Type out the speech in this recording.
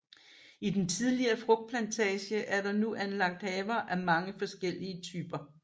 I den tidligere frugtplantage er der nu anlagt haver af mange forskellige typer